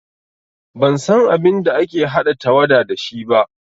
Ban san abin da ake haɗa tawada da shi ba